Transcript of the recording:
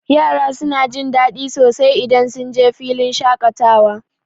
Yara suna jin daɗi sosai idan sunje filin shaƙatawa.